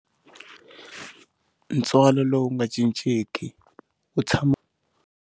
Ntswalo lowu nga cincenki u tshama.